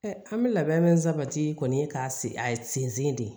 an bɛ labɛn min sabati kɔni ka se a sen de